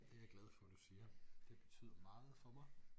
Det er jeg glad for du siger det betyder meget for mig